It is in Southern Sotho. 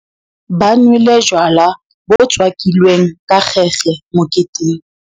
Ba nwele jwala bo tswakilweng ka kgekge moketeng.